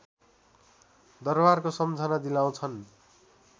दरवारको सम्झना दिलाउँछन्